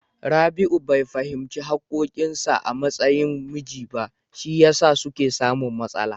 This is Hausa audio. Rabi'u bai fahimci haƙƙoƙin sa a matsayin miji ba, shi yasa suke samun matsala.